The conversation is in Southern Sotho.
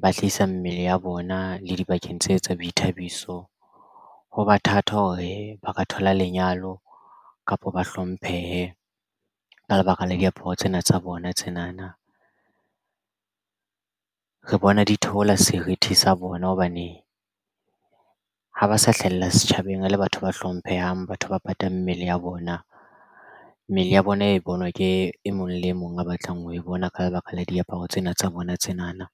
ba hlahisa mmele ya bona le dibakeng tse tsa boithabiso ho ba thata hore ba ka thola lenyalo kapa ba hlomphehe ka lebaka la diaparo tsena tsa bona. Tsena na re bona di theola serithi sa bona hobane ha ba sa hlahella setjhaba thabeng le batho ba hlomphehang batho ba patang mmele ya bona. Mmele ya bona e bonwa ke e mong le mong a batlang ho e bona ka lebaka la diaparo tsena tsa bona tsena na.